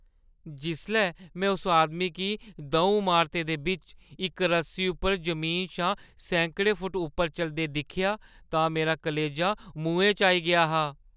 जिसलै में उस आदमी गी द'ऊं अमारतें दे बिच्च इक रस्सी उप्पर जमीना शा सैकड़ें फुट्ट उप्पर चलदे दिक्खेआ तां मेरा कलेजा मुहैं च आई गेआ हा।